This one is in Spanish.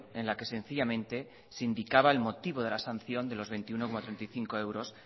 en la que sencillamente se indicaba el motivo de la sanción de los veintiuno coma treinta y cinco euros